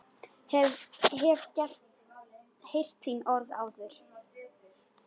Hef heyrt orð þín áður.